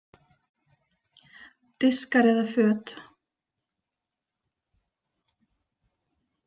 Diskar eða föt?